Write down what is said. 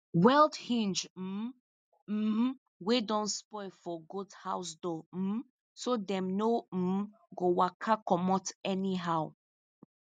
weld hinge um um wey don spoil for goat house door um so dem no um go waka comot anyhow